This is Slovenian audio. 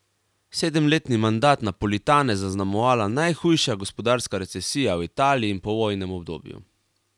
Sedemletni mandat Napolitana je zaznamovala najhujša gospodarska recesija v Italiji v povojnem obdobju.